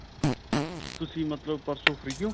ਤੁਸੀਂ ਮਤਲਬ ਪਰਸੋੰ free ਹੋ?